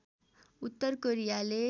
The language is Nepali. उत्तर कोरियाले